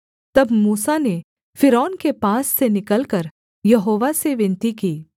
तब मूसा ने फ़िरौन के पास से निकलकर यहोवा से विनती की